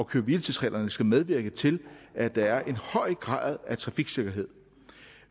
køre hvile tids reglerne skal medvirke til at der er en høj grad af trafiksikkerhed